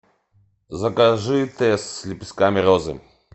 закажи тесс с лепестками розы